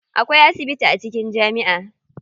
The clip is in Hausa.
Akwai asibiti a cikin jami'a.